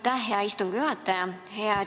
Aitäh, hea istungi juhataja!